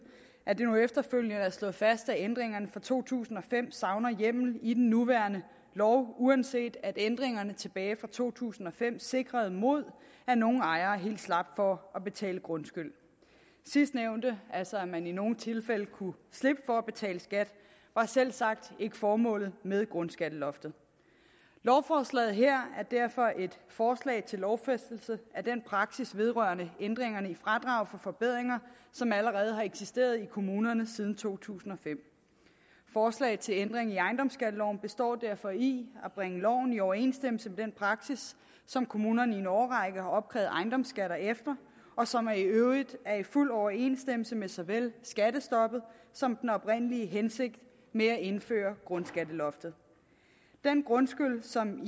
at det nu efterfølgende er slået fast at ændringerne fra to tusind og fem savner hjemmel i den nuværende lov uanset at ændringerne tilbage fra to tusind og fem sikrede mod at nogle ejere helt slap for at betale grundskyld sidstnævnte altså at man i nogle tilfælde kunne slippe for at betale skat var selvsagt ikke formålet med grundskatteloftet lovforslaget her er derfor et forslag til lovfæstelse af den praksis vedrørende ændringerne i fradraget for forbedringer som allerede har eksisteret i kommunerne siden to tusind og fem forslaget til ændring i ejendomsskatteloven består derfor i at bringe loven i overensstemmelse med den praksis som kommunerne i en årrække har opkrævet ejendomsskatter efter og som i øvrigt er i fuld overensstemmelse med såvel skattestoppet som den oprindelige hensigt med at indføre grundskatteloftet den grundskyld som